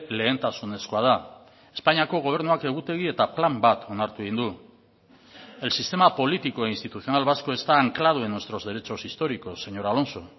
lehentasunezkoa da espainiako gobernuak egutegi eta plan bat onartu egin du el sistema político e institucional vasco está anclado en nuestros derechos históricos señor alonso